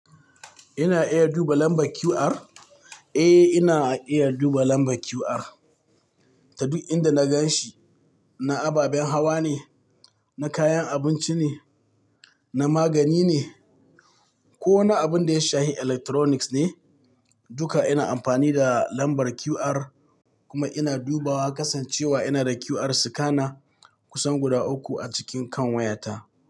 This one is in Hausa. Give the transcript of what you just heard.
Ina iya duba lambar QR? Eh, ina iya duba lambar QR. Ta duk inda na gan shi, na ababen hawa ne, na kayan abinci ne, na magani ne ko na abun da ya shafi electronics ne, duka ina amfani da lambar QR kuma ina dubawa kasancewa ina da QR scanner kusan guda uku a cikin kan wayata.